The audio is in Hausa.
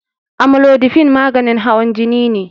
Amlodipine maganin hawan jini ne.